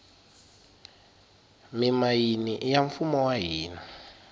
mimayini iya mfumo wa hina